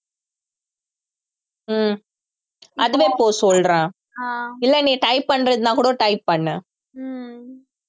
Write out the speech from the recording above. ஹம் அதுவே போ சொல்றேன் இல்லை நீ type பண்றதுன்னா கூட type பண்ணு